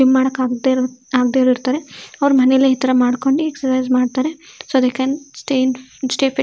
ಏನ್ ಮಾಡೋಕ್ ಆಗುತ್ತೆ. ಅವ್ರು ಮನೇಲಿ ಈ ತರ ಮಾಡ್ಕೊಂಡು ಎಸ್ಚ್ರ್ಸಿಜ್ ಮಾಡ್ತಾರೆ so we can stay fit .